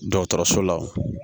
Dɔgɔtɔrɔso la